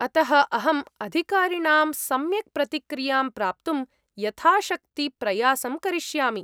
अतः अहं अधिकारिणां सम्यक् प्रतिक्रियां प्राप्तुं यथाशक्ति प्रयासं करिष्यामि।